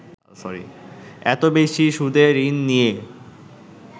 এত বেশি সুদে ঋণ নিয়ে